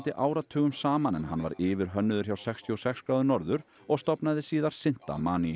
áratugum saman en hann var yfirhönnuður hjá sextíu og sex gráður norður og stofnaði síðar